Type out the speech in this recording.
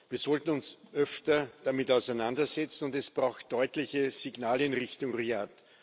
Wir sollten uns öfter damit auseinandersetzen, und es braucht deutliche Signale in Richtung Riad.